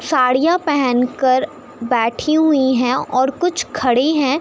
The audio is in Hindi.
साड़ियाँ पहन कर बैठी हुई हैं और कुछ खड़ी हैं।